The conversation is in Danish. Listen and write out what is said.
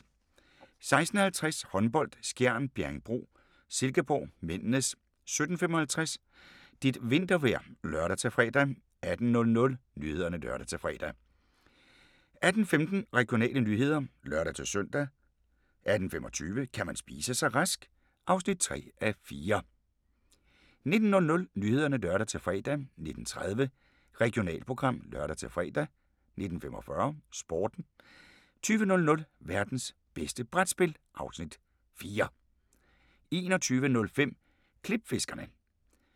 16:50: Håndbold: Skjern - Bjerringbro-Silkeborg (m) 17:55: Dit vintervejr (lør-fre) 18:00: Nyhederne (lør-fre) 18:15: Regionale nyheder (lør-søn) 18:25: Kan man spise sig rask? (3:4) 19:00: Nyhederne (lør-fre) 19:30: Regionalprogram (lør-fre) 19:45: Sporten 20:00: Værtens bedste brætspil (Afs. 4) 21:05: Klipfiskerne